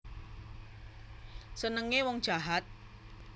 Senenge wong jahat